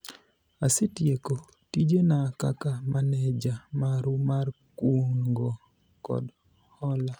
asetieko tijena kaka maneja maru mar kungo kod hola